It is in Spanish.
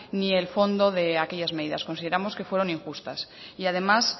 ni el fondo de aquellas medidas consideramos que fueron injustas y además